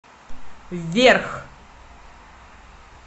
вверх